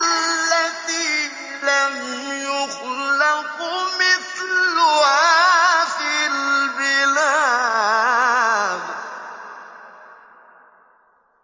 الَّتِي لَمْ يُخْلَقْ مِثْلُهَا فِي الْبِلَادِ